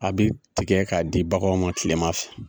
A bi tigɛ k'a di baganw ma kilema fɛ.